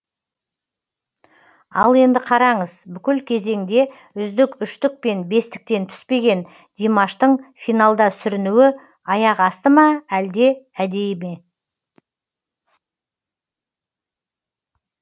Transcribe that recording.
ал енді қараңыз бүкіл кезеңде үздік үштік пен бестіктен түспеген димаштың финалда сүрінуі аяқ асты ма әлде әдейі ме